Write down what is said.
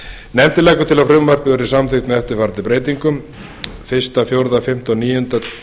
nefndin leggur til að frumvarpið verði samþykkt með eftirfarandi breytingum fyrsti fyrsti fjórði fimmti og níunda